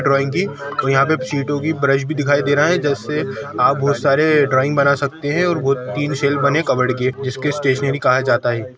Drawing की और यहाँ पे सीटों की ब्रश भी दिखाई दे रहा है जैसे आप बहोत सारे ड्राइंग बना सकते है और वो तीन सेल बने कबर्ड के जिसके स्टेशनरी कहा जाता हैं।